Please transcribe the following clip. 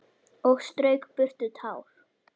Og strauk burtu tár.